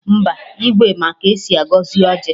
Mba, Igwe ma ka esi agọzi ọjị